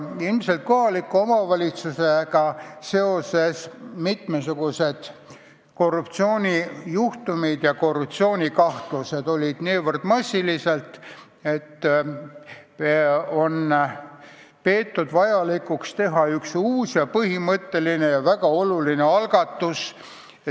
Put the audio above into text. Kohalike omavalitsustega seotud mitmesugused korruptsioonijuhtumid ja korruptsioonikahtlused on olnud nii massilised, et on peetud vajalikuks teha üks põhimõtteline ja väga oluline algatus.